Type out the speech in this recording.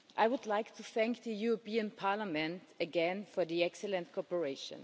I would like to thank the European Parliament again for the excellent cooperation.